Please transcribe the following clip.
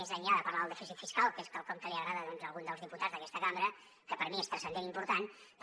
més enllà de parlar del dèficit fiscal que és quelcom que els hi agrada a alguns dels diputats d’aquesta cambra que per mi és transcendent i important però